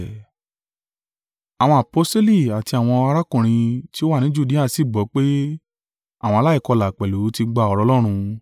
Àwọn aposteli àti àwọn arákùnrin ti ó wà ni Judea sì gbọ́ pé àwọn aláìkọlà pẹ̀lú ti gba ọ̀rọ̀ Ọlọ́run.